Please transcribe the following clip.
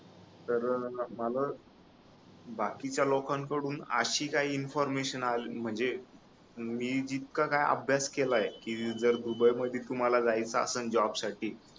तर मला बाकीच्या लोकांन कडून आशी काही इन्फॉर्मशन आली म्हणजे मी जितका काही अभ्यास केलाय कि जर दुबई मध्ये तुम्हाला जायचं असेल जॉब साठी